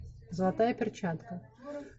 золотая перчатка